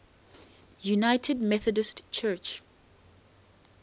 united methodist church